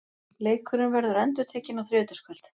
Leikurinn verður endurtekinn á þriðjudagskvöld.